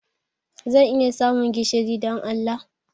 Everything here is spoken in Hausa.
Zan iya samun gishiri, don Allah?